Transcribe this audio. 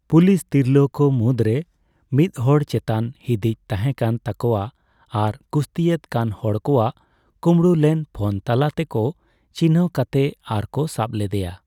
Police ᱛᱤᱨᱞᱟᱹ ᱠᱚ ᱢᱩᱫᱽ ᱨᱮ ᱢᱤᱫ ᱦᱚᱲ ᱪᱮᱛᱟᱱ ᱦᱤᱫᱤᱡ ᱛᱟᱦᱮᱸᱠᱟᱱ ᱛᱟᱠᱚᱣᱟ ᱟᱨ ᱠᱩᱥᱛᱤᱭᱮᱫ ᱠᱟᱱ ᱦᱚᱲ ᱠᱚᱣᱟᱜ ᱠᱳᱵᱽᱲᱳ ᱞᱮᱱ ᱯᱷᱳᱱ ᱛᱟᱞᱟ ᱛᱮᱠᱚ ᱪᱤᱱᱦᱟᱹᱣ ᱠᱟᱛᱮ ᱟᱨ ᱠᱚ ᱥᱟᱵ ᱞᱮᱫᱭᱟ ᱾